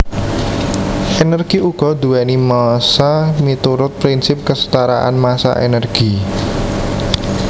Energi uga duwéni massa miturut prinsip kesetaraan massa energi